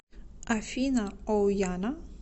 афина оуяна